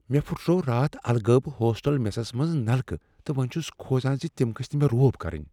مےٚ پھٹروو راتھ الہٕ غٲب ہوسٹل میسس منٛز نلکہٕ تہٕ وۄنۍ چھس کھوژان ز تم گٔژھۍ نہٕ مےٚ روب کرٕنۍ۔